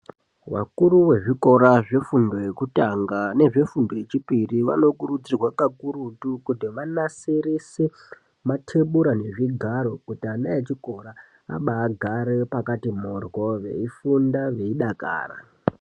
Vakuru vezvikora zvefundo yekutanga nezvefundo yechipiri vanokurudzirwa kakurutu kuti vanasirise matebura nezvigaro kuti ana echikora abagare pakati mhoryoo veifunda veidakara.